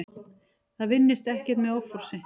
Það vinnist ekkert með offorsi.